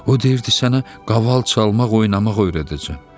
O deyirdi sənə qaval çalmaq, oynamaq öyrədəcəm.